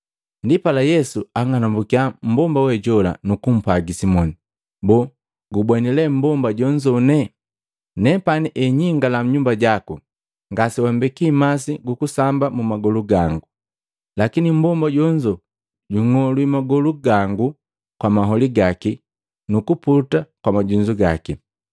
Ndipala Yesu ang'anumbukya mmbomba we jola, nukumpwagi Simoni, “Boo gumbweni lee mmbomba jonzone? Nepani enyingala nnyumba jaku, ngasewambeki masi gu kusamba magolu gangu, lakini mmbomba jonzo jung'olwi magolu gangu kwa maholi gaki nukuputa kwa majunzu gaki.